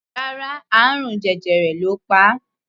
Rárá, àrùn jẹjẹrẹ ló pa á.